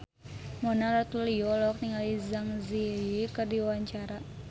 Mona Ratuliu olohok ningali Zang Zi Yi keur diwawancara